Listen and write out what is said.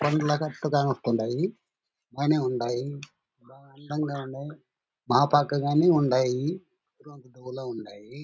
కొండల గుట్టుగా వస్తుడాయి. బానే ఉండాయి. అందంగా ఉండాయి. మా పక్కగా గానే ఉండాయి.